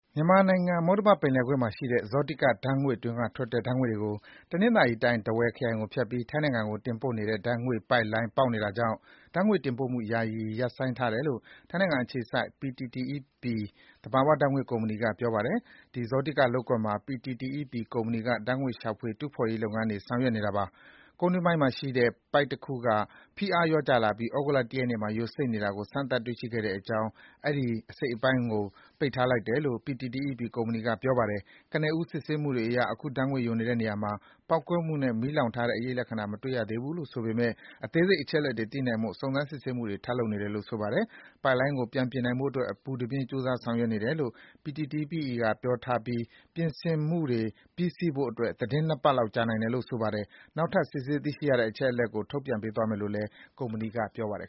မြန်မာနိုင်ငံ၊ မုတ္တမပင်လယ်ကွေ့မှာရှိတဲ့ ဇောတိက ဓါတ်ငွေ့တွင်းကထွက်တဲ့ ဓါတ်ငွေ့တွေကို တနင်္သာရီတိုင်း၊ ထားဝယ်ခရိုင်ကိုဖြတ်ပြီး ထိုင်းနိုင်ငံကို တင်ပို့နေတဲ့ ဓါတ်ငွေ့ပိုက်လိုင်း ပေါက်နေတာကြောင့် ဓါတ်ငွေ့တင်ပို့မှု ယာယီ ရပ်ဆိုင်းထားတယ်လို့ ထိုင်းနိုင်ငံအခြေစိုက် PTTEP သဘာဝဓါတ်ငွေ့ကုမ္ပဏီက ပြောပါတယ်။ ဒီဇောတိကလုပ်ကွက်မှာ PTTEP ကုမ္ပဏီက ဓါတ်ငွေ့ ရှာဖွေ တူးဖော်ရေးလုပ်ငန်းတွေ ဆောင်ရွက်နေတာပါ။ ကုန်းတွင်းပိုင်းမှာရှိတဲ့ ပိုက်တခုက ဖိအားလျော့ကျလာပြီး သြဂုတ်လ ၁ ရက်နေ့မှာ ယိုစိမ့်နေတာကို စမ်းသပ် တွေ့ရှိခဲ့တာကြောင့် အဲဒီ အစိတ်အပိုင်းကို ပိတ်ထားလိုက်တယ်လို့ PTTEP ကုမ္ပဏီက ပြောပါတယ်။ ကနဦး စစ်ဆေးမှုတွေအရ အခု ဓါတ်ငွေ့ယိုနေတဲ့နေရာမှာ ပေါက်ကွဲမှုနဲ့ မီးလောင် ထားတဲ့အရိပ်လက္ခဏာတွေ မတွေ့ရဘူးလို့ဆိုပေမယ့် အသေးစိတ်အချက်အလက်တွေ သိနိုင်ဖို့ စုံစမ်း စစ်ဆေးမှုတွေ ထပ်လုပ်နေတယ်လို့ ဆိုပါတယ်။ ပိုက်လိုင်းကို ပြင်နိုင်ဖို့အတွက် အပူတပြင်း ကြိုးစား ဆောင်ရွက်နေတယ်လို့ PTTEP က ပြောထားပြီး ပြင်ဆင်မှုတွေ ပြီးဆီးဖို့အတွက် သီတင်း ၂ ပတ်လောက် ကြာနိုင်တယ်လို့ ဆိုပါတယ်။ နောက်ထပ် စစ်ဆေး သိရှိရတဲ့ အချက်အလက်တွေကို ထုတ်ပြန်ပေးသွားမယ်လို့ PTTEP ကုမ္ပဏီက ပြောပါတယ်